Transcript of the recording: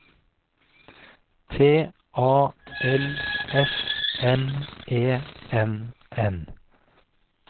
T A L S M E N N